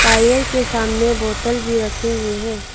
Tyre के सामने बोतल भी रखे हुए हैं।